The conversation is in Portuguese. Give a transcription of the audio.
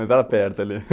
Mas era perto ali.